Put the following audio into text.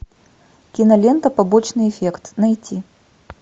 кинолента побочный эффект найти